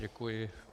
Děkuji.